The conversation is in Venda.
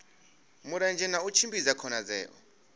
mulenzhe na u tshimbidza khonadzeo